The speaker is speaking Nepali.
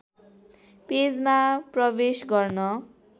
पेजमा प्रवेश गर्न